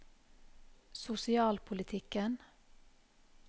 sosialpolitikken